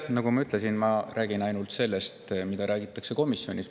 Nagu ma ütlesin, ma räägin ainult sellest, mida räägiti komisjonis.